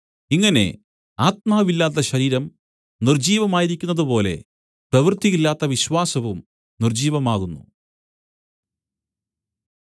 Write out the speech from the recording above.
ഇങ്ങനെ ആത്മാവില്ലാത്ത ശരീരം നിർജ്ജീവമായിരിക്കുന്നതു പോലെ പ്രവൃത്തിയില്ലാത്ത വിശ്വാസവും നിർജ്ജീവമാകുന്നു